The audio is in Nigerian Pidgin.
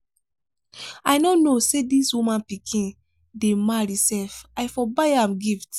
i no know say dis woman pikin dey marry sef i for buy am gift.